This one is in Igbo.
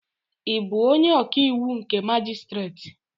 Ị bụ onye ọkàiwụ nke majistreti?